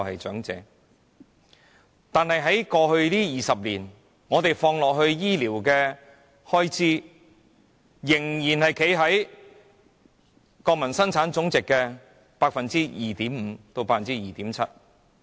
可是，在過去20年，本港投放在醫療的開支依然只佔國民生產總值的 2.5% 至 2.7%。